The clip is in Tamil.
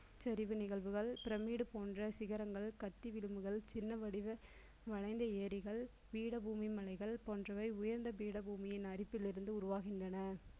சரிவு நிகழ்வுகள் pyramid போன்ற சிகரங்கள் கட்டி விளிம்புகள், சின்ன வடிவ வளைந்த ஏரிகள் பீட பூமி மலைகள் போன்றவை உயர்ந்த பீடபூமியின் அடிப்பிலிருந்து உருவாகின்றன